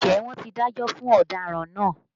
Ǹjẹ́ wọ́n ti dájọ́ fún ọ̀daràn náà